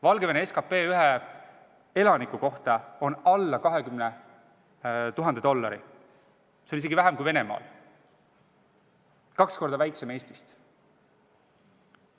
Valgevene SKT ühe elaniku kohta on alla 20 000 dollari, see on isegi väiksem kui Venemaal, kaks korda väiksem kui Eestist.